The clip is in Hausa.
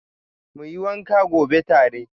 Muyi wanka gobe tare.